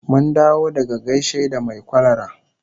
Mun dawo daga gaishe da mai kwalara